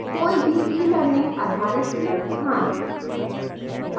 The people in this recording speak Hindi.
कोई भी ईelearning आधारित संस्थान